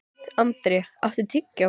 André, áttu tyggjó?